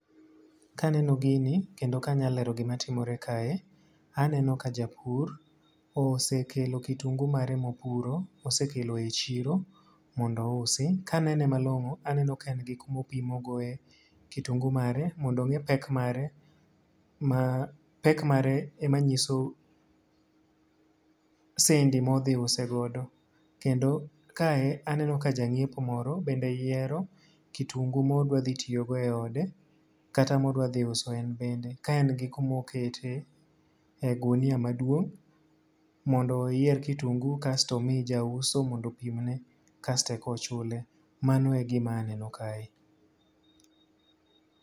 Ka aneno gini kendo ka anyalo lero gima timore kae. Aneno ka japur osekelo kitungu mare mopuro. Osekelo e chiro mondo ousi. Ka anene malongó, aneno ka en gi kuma opimogoe kitungu mare, mondo ongé pek mare, ma pek mare ema nyiso sendi ma odhi use godo. Kendo kae aneneo ka janyiepo moro bende yiero kitungu ma odwa dhi tiyogo e ode kata ma odwa dhi uso en bende. Ka en gi kuma okete, e ogunia maduong' mondo oyier kitungu kasto omi jauso mondo opimne. Kasto eka ochule. Mano e gima aneno kae.